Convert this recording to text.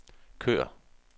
kør